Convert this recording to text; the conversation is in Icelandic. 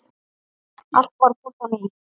Allt varð gott á ný.